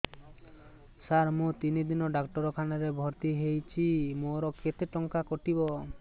ସାର ମୁ ତିନି ଦିନ ଡାକ୍ତରଖାନା ରେ ଭର୍ତି ହେଇଛି ମୋର କେତେ ଟଙ୍କା କଟିବ